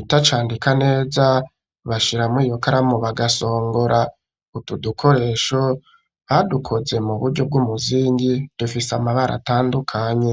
itacandika neza bashiramwo iyo karamu bagasongora utu dukoresho badukoze mu buryo bw'umuzingi dufise amabara atandukanye